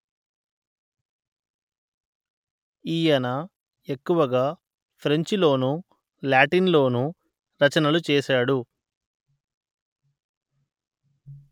ఈయన ఎక్కువగా ఫ్రెంచి లోనూ లాటిన్ లోనూ రచనలు చేశాడు